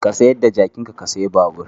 Ka sayar da jakinka ka sayi babur.